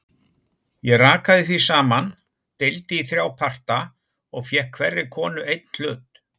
Ég rakaði því saman, deildi í þrjá parta og fékk hverri konu einn hlut.